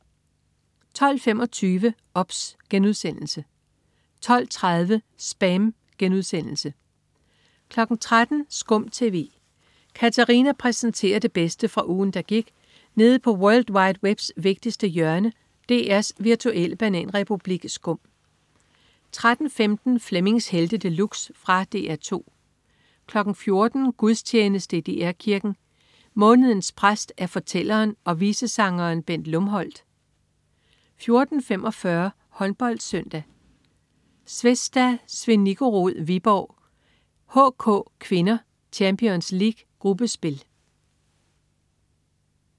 12.25 OBS* 12.30 SPAM* 13.00 SKUM TV. Katarina præsenterer det bedste fra ugen, der gik nede på world wide webs vigtigste hjørne, DR's virtuelle bananrepublik SKUM 13.15 Flemmings Helte De Luxe. Fra DR 2 14.00 Gudstjeneste i DR Kirken. Mådenens præst er fortælleren og visesangeren Bent Lumholt 14.45 HåndboldSøndag: Zvezda Zvenigorod-Viborg HK (k). Champions League gruppespil